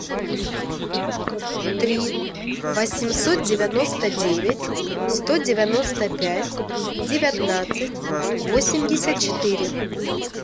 три восемьсот девяносто девять сто девяносто пять девятнадцать восемьдесят четыре